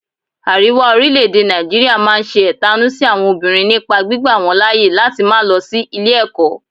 Àríwá orílẹ̀-èdè Nàìjíríà máa ń ṣe ẹ̀tanú sí àwọn obìnrin nípa gbígba wọ́n láyè láti má lọ sí ilé ẹ̀kọ́